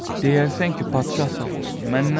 Deyərsən ki, padişah sağ olsun, məndən soruşma.